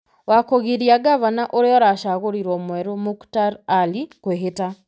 wa kũgiria ngavana ũrĩa ũracagũrirwo mwerũ, Muktar Ali, kwĩhĩta,